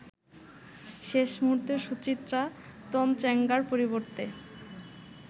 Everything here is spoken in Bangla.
শেষ মুহুর্তে সুচিত্রা তনচংগ্যার পরিবর্তে